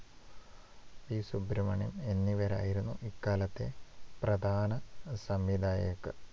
P. Subramanyam എന്നിവരായിരുന്നു ഇക്കാലത്തെ ചില പ്രധാന സംവിധായകർ.